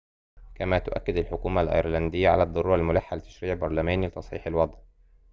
كما تؤكّد الحكومة الأيرلندية على الضرورة الملحّة لتشريعٍ برلمانيٍ لتصحيح الوضع